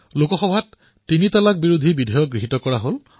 লোকসভাত তিনি তালাক বিল গৃহীত কৰা হল